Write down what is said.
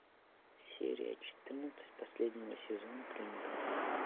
серия четырнадцать последнего сезона клиника